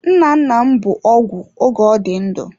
Nnanna m bụ ọgwụ oge ọ dị ndụ.